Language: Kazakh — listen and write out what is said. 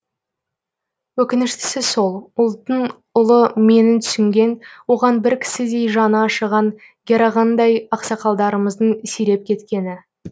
өкініштісі сол ұлттың ұлы менін түсінген оған бір кісідей жаны ашыған герағаңдай ақсақалдарымыздың сиреп кеткені